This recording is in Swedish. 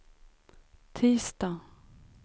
tisdag